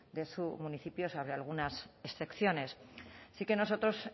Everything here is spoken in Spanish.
de su municipio salvo algunas excepciones sí que nosotros